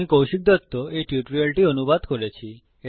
আমি কৌশিক দত্ত এই টিউটোরিয়ালটি অনুবাদ করেছি